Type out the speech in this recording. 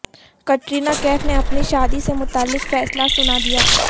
کترینہ کیف نے اپنی شادی سے متعلق فیصلہ سنا دیا